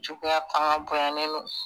Juguya fanga bonyanen don